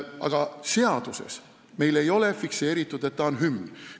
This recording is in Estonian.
Aga seaduses ei ole meil fikseeritud, et see on hümn.